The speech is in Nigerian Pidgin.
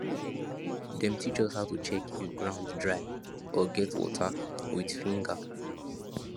dem teach us how to check if ground dry or get water with finger